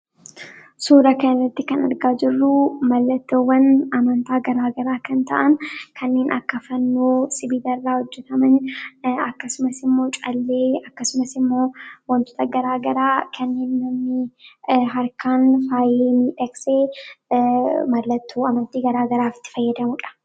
Suuraa kanarratti kan argaa jirru mallattoo amantaawwan gaemra garaa kan ta’an kanneen akka fannoo sibiila irraa hojjetamanii akkasumas immoo callee fi wantoota gara garaa kanneen mallattoo gara garaaf itti fayyadamanidha.